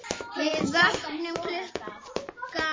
Við vöknum klukkan átta.